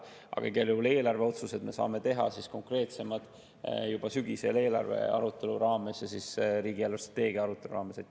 Aga igal juhul eelarveotsuseid me saame teha konkreetsemalt juba sügisel eelarvearutelu raames ja siis riigi eelarvestrateegia arutelu raames.